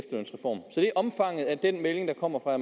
omfanget af den melding der kommer fra